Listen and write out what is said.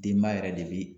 Denba yɛrɛ de bi